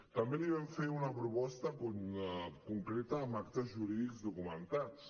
també li vam fer una proposta concreta sobre actes jurídics documentats